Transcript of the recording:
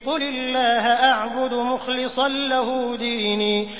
قُلِ اللَّهَ أَعْبُدُ مُخْلِصًا لَّهُ دِينِي